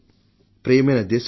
ప్రియమైన నా దేశ ప్రజలారా